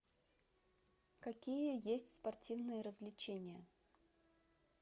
какие есть спортивные развлечения